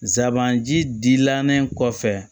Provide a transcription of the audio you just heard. Zanbanji dilalen kɔfɛ